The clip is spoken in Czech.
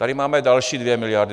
Tady máme další 2 miliardy.